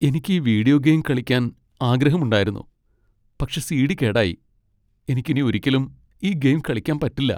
എനിക്ക് ഈ video game കളിക്കാൻ ആഗ്രഹമുണ്ടായിരുന്നു, പക്ഷേ സി.ഡി. കേടായി. എനിക്ക് ഇനി ഒരിക്കലും ഈ ഗെയിം കളിക്കാൻ പറ്റില്ല.